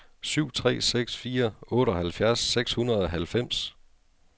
syv tre seks fire otteoghalvfjerds seks hundrede og halvfems